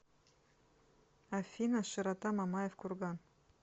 афина широта мамаев курган